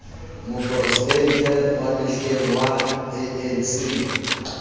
moporesidente wa mehleng wa anc